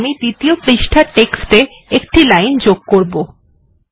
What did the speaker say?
এরপর আমরা দ্বিতীয় পাতা তে গিয়ে টেক্সট এ ১ টি লাইন যোগ করব